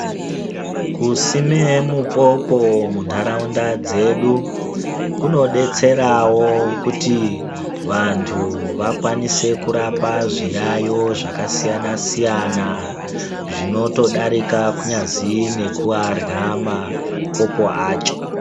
Kusime mupopo muntaraunda dzedu kunodetserawo kuti vantu vakwanise kurapa zviyayo zvakasiyana siyana, zvinotodarika kunyazi nekuarya mapopo acho.